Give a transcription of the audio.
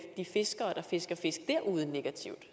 de fiskere der fisker fisk derude negativt